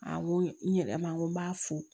A n ko n yɛrɛ ma n ko n b'a fo